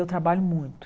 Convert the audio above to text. Eu trabalho muito.